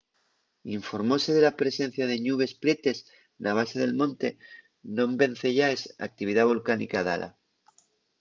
informóse de la presencia de ñubes prietes na base del monte non venceyaes a actividá volcánica dala